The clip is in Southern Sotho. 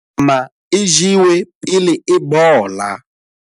Nama e jewe pele e bola.